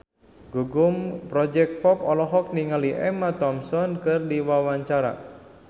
Gugum Project Pop olohok ningali Emma Thompson keur diwawancara